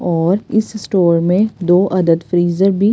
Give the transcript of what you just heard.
और इस स्टोर में दो अदद फ्रीजर भी--